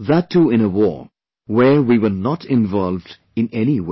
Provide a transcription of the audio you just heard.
that too in a war where we were not involved in any way